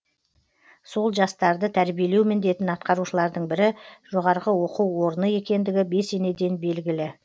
сол жастарды тәрбиелеу міндетін атқарушылардың бірі жоо екендігі бесенеден белгілі